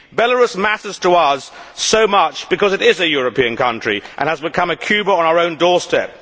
Belarus matters to us so much because it is a European country and has become a Cuba on our own doorstep.